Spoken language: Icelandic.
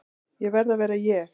Ég verð að vera ég.